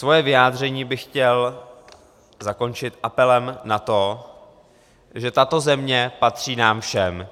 Svoje vyjádření bych chtěl zakončit apelem na to, že tato země patří nám všem.